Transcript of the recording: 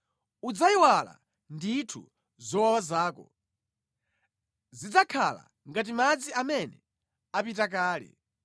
Udzayiwala ndithu zowawa zako, zidzakhala ngati madzi amene apita kale.